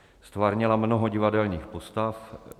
Ztvárnila mnoho divadelních postav.